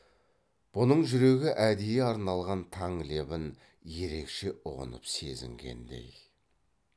бұның жүрегі әдейі арналған таң лебін ерекше ұғынып сезінгендей